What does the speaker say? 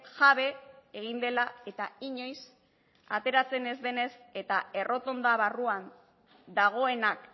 jabe egin dela eta inoiz ateratzen ez denez eta errotonda barruan dagoenak